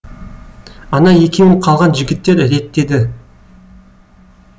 ана екеуін қалған жігіттер реттеді